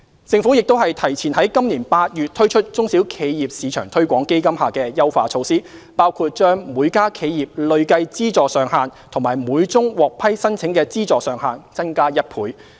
政府亦提前於今年8月推出中小企業市場推廣基金下的優化措施，包括把每家企業累計資助上限及每宗獲批申請的資助上限增加1倍。